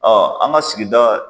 an ka sigida